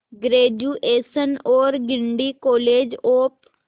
graduation और Guindy college of